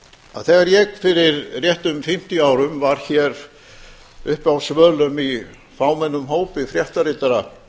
að þegar ég fyrir réttum fimmtíu árum var hér uppi á svölum í fámennum hópi fréttaritara